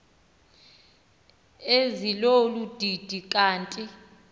ezilolu didi kanti